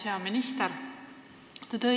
Hea minister!